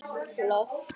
Loft steypt yfir forsal.